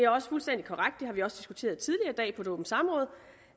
også fuldstændig korrekt det har vi også diskuteret tidligere i dag på et åbent samråd